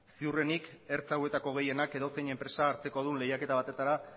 ziurrenik ertza hauetako gehienak edozein enpresa hartzekodun lehiaketa batetara